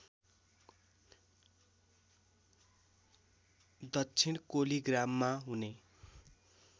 दक्षिण कोलिग्राममा हुने